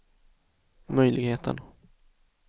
möjligheten